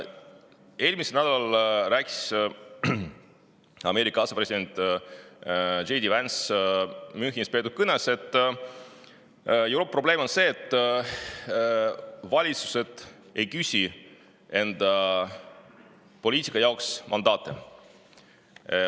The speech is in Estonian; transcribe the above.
Eelmisel nädalal rääkis Ameerika asepresident J. D. Vance Münchenis peetud kõnes, et Euroopa probleem on see, et valitsused ei küsi enda poliitika jaoks mandaati.